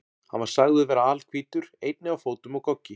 Hann var sagður vera alhvítur, einnig á fótum og goggi.